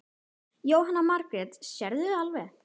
Jóhanna Margrét: Sérðu alveg?